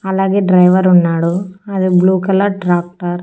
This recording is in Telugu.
అలాగే డ్రైవర్ ఉన్నాడు అది బ్లూ కలర్ ట్రాక్టర్ .